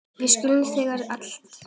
Við elskum þig alltaf.